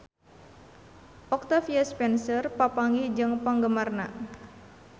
Octavia Spencer papanggih jeung penggemarna